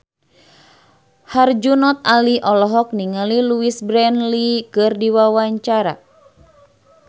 Herjunot Ali olohok ningali Louise Brealey keur diwawancara